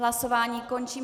Hlasování končím.